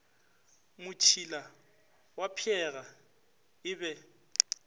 motšila wa pheega e be